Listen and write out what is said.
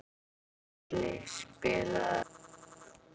Sörli, spilaðu lag.